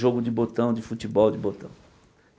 Jogo de botão, de futebol de botão.